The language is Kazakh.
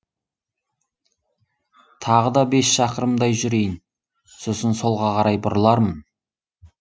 тағы да бес шақырымдай жүрейін сосын солға қарай бұрылармын